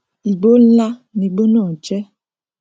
igbó nlá ni igbó náà jẹ